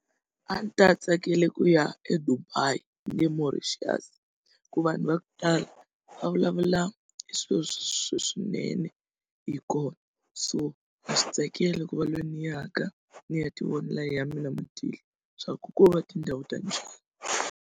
A ndzi ta tsakela ku ya eDubai ni le Mauritius ku vanhu va ku tala va vulavula hi swilo leswinene hi kona so na swi tsakela ku va lweyi ni yaka ndzi ya tivonela hi ya mina matihlo swaku ko va tindhawu ta njhani.